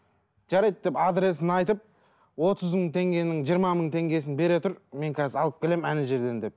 жарайды деп адресін айтып отыз мың теңгенің жиырма мың теңгесін бере тұр мен қазір алып келемін жерден деп